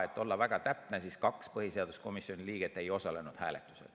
Et olla täpne, siis ütlen, kaks põhiseaduskomisjoni liiget ei osalenud hääletusel.